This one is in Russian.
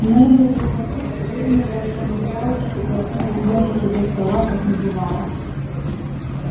невилл долгопупс выронил волшебную палочку и одной из ножек его стола как не бывало